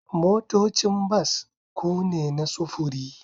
Motocin bas ku ne na sufuri